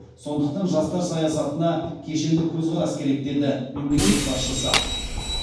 сондықтан жастар саясатына кешенді көзқарас керек деді мемлекет басшысы